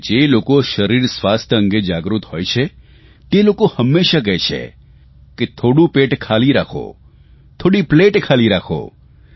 અને જે લોકો શરીર સ્વાસ્થ્ય અંગે જાગૃત હોય છે તે હંમેશા કહે છે થોડું પેટ ખાલી રાખો થોડી પ્લેટ ખાલી રાખો